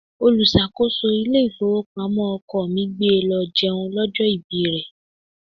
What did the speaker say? Olùṣàkóso ilé ìfowópamọ́ ọkọ mi gbé e lọ jẹun lọ́jọ́ ọjọ́ ìbí rẹ.